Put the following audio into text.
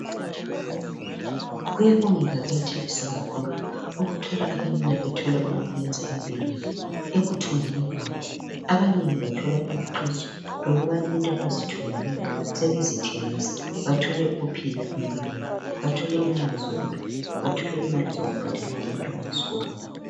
Kuyabongeka kuyathabisa kakhulu, ukuthola abenina bethola okokwenza empilweni. Ekuthungeni kwabo abanengi bathola ukubana into abazithungileyo sebezithengisa bathole ukuphila empilweni, bathole imali zokudla, bathole imali zokubhadalela abantwana esikolweni.